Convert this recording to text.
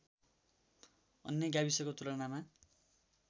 अन्य गाविसको तुलनामा